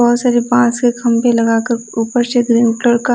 बहुत सारे बांस के खंभे लगाकर ऊपर से ग्रीन कलर का --